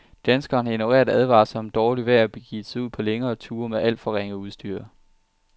Danskerne har ignoreret advarsler om dårligt vejr og begivet sig ud på længere ture med alt for ringe udstyr.